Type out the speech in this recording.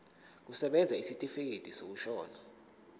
kusebenza isitifikedi sokushona